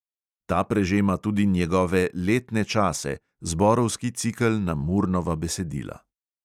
Ta prežema tudi njegove letne čase – zborovski cikel na murnova besedila.